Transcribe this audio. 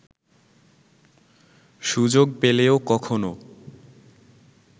সুযোগ পেলেও কখনও